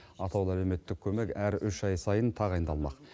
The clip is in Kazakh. атаулы әлеуметтік көмек әр үш ай сайын тағайындалмақ